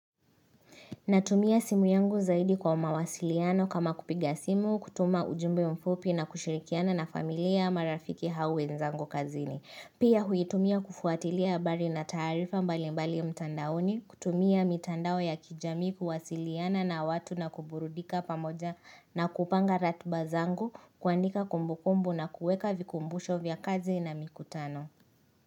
Natumia simu yangu zaidi kwa mawasiliano kama kupiga simu, kutuma ujumbe mfupi na kushirikiana na familia, marafiki hau wenzangu kazini. Pia huitumia kufuatilia habari na taarifa mbali mbali mtandaoni, kutumia mitandao ya kijamii kuwasiliana na watu na kuburudika pamoja na kupanga ratuba zangu, kuandika kumbu kumbu na kueka vikumbusho vya kazi na mikutano.